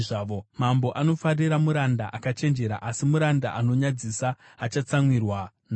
Mambo anofarira muranda akachenjera, asi muranda anonyadzisa achatsamwirwa naye.